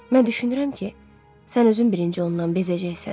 Mən düşünürəm ki, sən özün birinci ondan bezəcəksən.